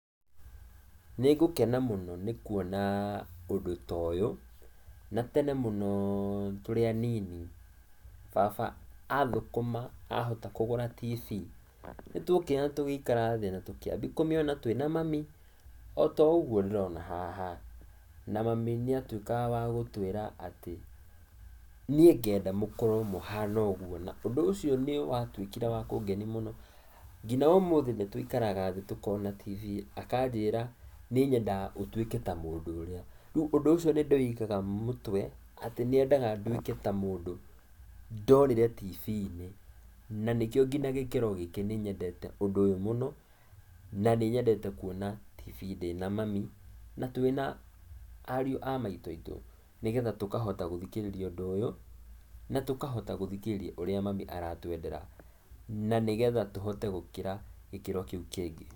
Nĩ ngũkena mũno nĩ kũona ũndũ ta ũyũ, na tenee mũno tũrĩ anini, baba athũkũma, ahota kũgũra tibĩ, nĩ tuokire na tũgĩikarathĩ na tũkĩanjia kũmĩona twĩna mami, otoũguo ndĩrona haha, na mami nĩ atuĩkaga wa gũtũira atĩ, nĩngenda mũkorwo mũhana ũguo, na ũndũ ũcio nĩ watuĩkire wa kũngenia mũno, ngina ũmũthĩ nĩtũtuikaga akuona tibi akanjĩra niĩ nyendaga ũtũĩke ta mũndũ ũrĩa, rĩu ũndũ ũcio nĩ ndĩũigaga mũtwe, atĩ nĩendaga nduĩke ta mũndũ ndonire tibi-inĩ na nĩkĩo nginya gĩkĩro gĩkĩ, nĩ nyendeke ũndũ ũyũ mũno na nĩ nyendete kuona tibi ndĩna mami, na twĩna ariũ a maitũ aitũ nigetha tũkahota gũthikĩrĩria ũndũ ũyũ, na tũkahota gũthĩkĩrĩria ũrĩa mami aratwendera, na nĩgetha tũkahota gũkĩra gĩkĩro kĩũ kĩngĩ.